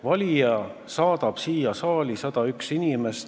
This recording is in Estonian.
Valija saadab siia saali 101 inimest.